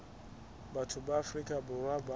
batho ba afrika borwa bao